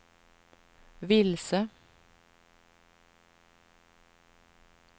vilse